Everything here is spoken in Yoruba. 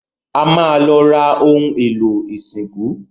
A ma lọ ra ohun èlò ìsìnkú